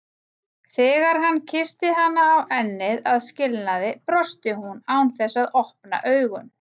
Þegar hann kyssti hana á ennið að skilnaði brosti hún án þess að opna augun.